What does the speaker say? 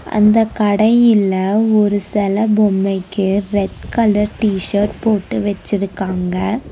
அந்த கடையில ஒரு செல பொம்மைக்கு ரெட் கலர் டி_ஷர்ட் போட்டு வச்சிருக்காங்க.